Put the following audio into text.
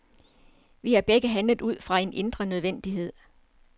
Vi har begge handlet ud fra en indre nødvendighed.